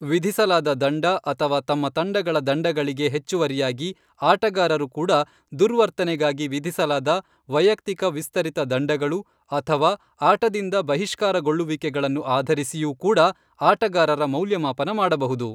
ವಿಧಿಸಲಾದ ದಂಡ ಅಥವಾ ತಮ್ಮ ತಂಡಗಳ ದಂಡಗಳಿಗೆ ಹೆಚ್ಚುವರಿಯಾಗಿ ಆಟಗಾರರು ಕೂಡ ದುರ್ವರ್ತನೆಗಾಗಿ ವಿಧಿಸಲಾದ ವೈಯಕ್ತಿಕ ವಿಸ್ತರಿತ ದಂಡಗಳು ಅಥವಾ ಆಟದಿಂದ ಬಹಿಷ್ಕಾರಗೊಳ್ಳುವಿಕೆಗಳನ್ನು ಆಧರಿಸಿಯೂ ಕೂಡ ಆಟಗಾರರ ಮೌಲ್ಯಮಾಪನ ಮಾಡಬಹುದು.